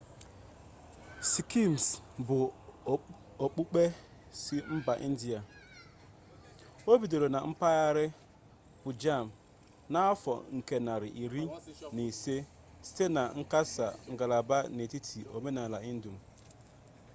sikizm bụ okpukpe si mba india o bidoro na mpaghara pụnjab n'ahọ nke narị iri na ise site na nkesa ngalaba n'etiti omenala hindu